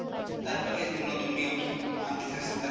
তারপরে এই যে নতুন নিয়ম আনতে চাসসে তারা,